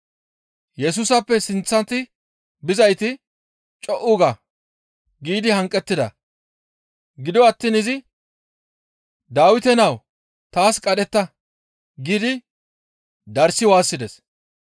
Yesusappe sinththati bizayti, «Co7u ga!» giidi hanqettida. Gido attiin izi, «Dawite nawu! Taas qadhetta!» giidi darssi waassides.